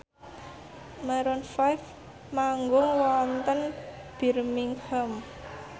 Maroon 5 manggung wonten Birmingham